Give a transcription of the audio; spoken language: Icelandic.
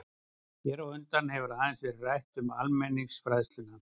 Hér á undan hefur aðeins verið rætt um almenningsfræðsluna.